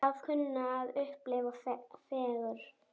Að kunna að upplifa fegurð?